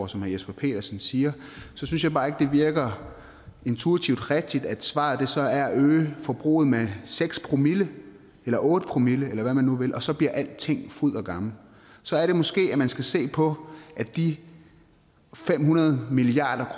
som herre jesper petersen siger synes jeg bare ikke det virker intuitivt rigtigt at svaret så er at øge forbruget med seks promille eller otte promille eller hvad man nu vil og så bliver alting fryd og gammen så er det måske at man skal se på at de fem hundrede milliard